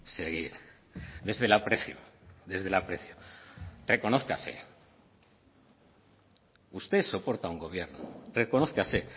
seguir desde el aprecio desde el aprecio reconózcase usted soporta a un gobierno reconózcase